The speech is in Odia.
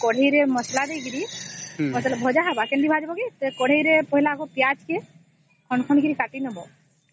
କଢେଇ ରେ ମସଲା ଦେଇକରି ଭଜା ହବ କେମିତି ଭଜା ହବ କଢେଇ ରେ ପହିଲା କେ ପିଆଜ କେ ଖଣ୍ଡ ଖଣ୍ଡ କରିକି କାଟିନେବେ